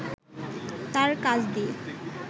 তাঁর কাজ দিয়ে